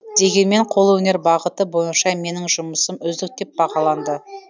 дегенмен қолөнер бағыты бойынша менің жұмысым үздік деп бағаланды